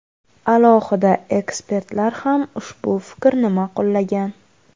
Alohida ekspertlar ham ushbu fikrni ma’qullagan .